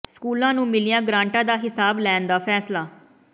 ਸਕੂਲਾਂ ਨੂੰ ਮਿਲੀਆਂ ਗਰਾਂਟਾਂ ਦਾ ਹਿਸਾਬ ਲੈਣ ਦਾ ਫ਼ੈਸਲਾ